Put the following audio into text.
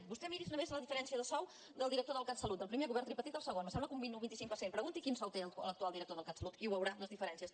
vostè miri’s només la diferència de sou del director del catsalut del primer govern tripartit al segon me sembla que un vint o un vint cinc per cent pregunti quin sou té l’actual director del catsalut i veurà les diferències